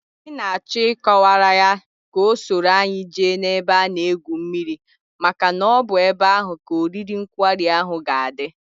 Anyị n'achọ ị kọwaara ya ka o soro anyi jee n'ebe a na egwu mmiri maka na ọbụ ebe ahụ ka oriri nkwari ahụ ga adị